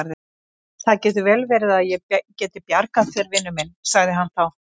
Það getur vel verið að ég geti bjargað þér, vinur minn sagði hann þá.